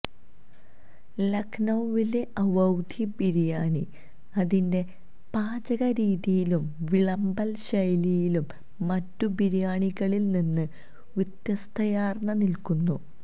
ലഖ്നൌവിലെ അവൌധി ബിരിയാണി അതിന്റെ പാചക രീതിയിലും വിളമ്പൽ ശൈലിയിലും മറ്റു ബിരിയാണികളിൽ നിന്ന് വ്യത്യസ്തതയാർന്നു നിൽക്കുന്നു